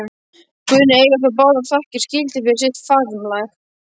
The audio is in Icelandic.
Guðný eiga þó báðar þakkir skildar fyrir sitt framlag.